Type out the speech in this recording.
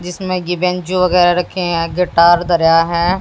जिसमें कि बेंजो वगैरा रखे हैं आगे टायर धरा है।